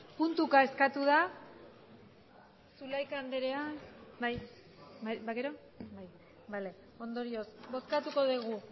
puntuka eskatu da ondorioz bozkatuko dugu